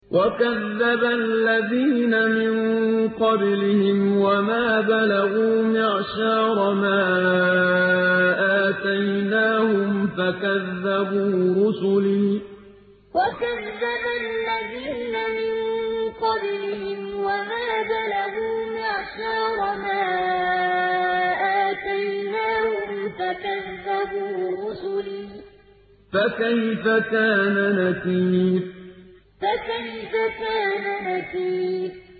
وَكَذَّبَ الَّذِينَ مِن قَبْلِهِمْ وَمَا بَلَغُوا مِعْشَارَ مَا آتَيْنَاهُمْ فَكَذَّبُوا رُسُلِي ۖ فَكَيْفَ كَانَ نَكِيرِ وَكَذَّبَ الَّذِينَ مِن قَبْلِهِمْ وَمَا بَلَغُوا مِعْشَارَ مَا آتَيْنَاهُمْ فَكَذَّبُوا رُسُلِي ۖ فَكَيْفَ كَانَ نَكِيرِ